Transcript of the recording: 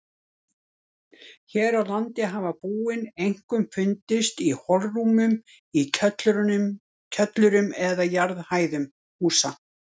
Hér á landi hafa búin einkum fundist í holrúmum í kjöllurum eða jarðhæðum húsa.